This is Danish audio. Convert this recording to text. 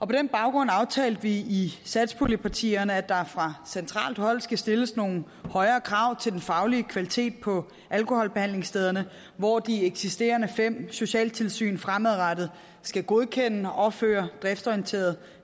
den baggrund aftalte vi i satspuljepartierne at der fra centralt hold skal stilles nogle højere krav til den faglige kvalitet på alkoholbehandlingsstederne hvor de eksisterende fem socialtilsyn fremadrettet skal godkende og føre driftsorienteret